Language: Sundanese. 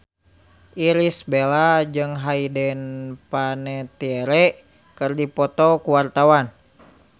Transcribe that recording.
Irish Bella jeung Hayden Panettiere keur dipoto ku wartawan